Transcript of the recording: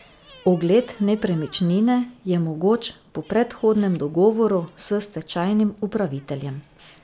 Ogled nepremičnine je mogoč po predhodnem dogovoru s stečajnim upraviteljem.